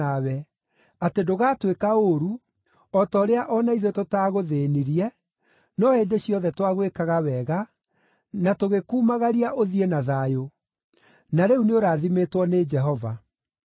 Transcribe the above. atĩ ndũgatwĩka ũũru, o ta ũrĩa o na ithuĩ tũtaagũthĩĩnirie, no hĩndĩ ciothe twagwĩkaga wega, na tũgĩkumagaria ũthiĩ na thayũ. Na rĩu nĩũrathimĩtwo nĩ Jehova.”